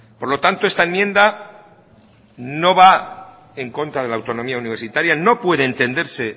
por lo tanto esta enmienda no va en contra de la autonomía universitaria no puede entenderse